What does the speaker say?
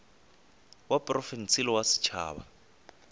wa profense le wa setšhaba